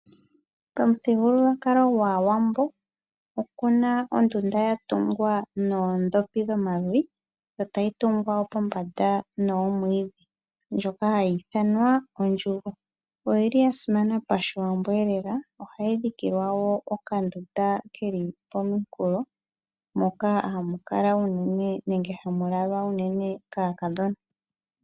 Pamuthigululwakalo gwaawambo opuna ondunda yatungwa noodhopi dhomavi, yo tayi tungwa wo pombanda noomwiidhi ndjoka hayi ithanwa ondjugo. Oyili ya simana pashiwambweelela, ohayi dhikilwa okandunda keli pomukulo moka hamu kala unene nenge hamu lalwa kaakadhona.